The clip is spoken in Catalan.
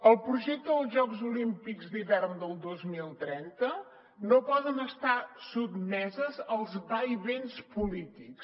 el projecte dels jocs olímpics d’hivern del dos mil trenta no pot estar sotmès als vaivens polítics